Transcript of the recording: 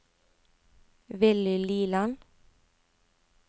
Willy Liland